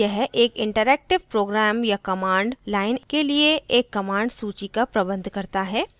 यह एक interactive program या command line के लिए एक command सूची का प्रबंध करता है